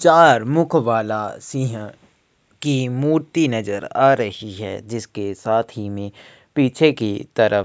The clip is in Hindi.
चार मुख वाला सिंह की मूर्ति नजर आ रही है जिसके साथ ही में पीछे की तरफ --